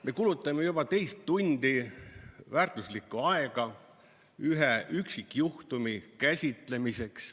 Me kulutame juba teist tundi väärtuslikku aega ühe üksikjuhtumi käsitlemiseks.